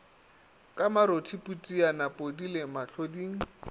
ka marothi phutiane podile mohloding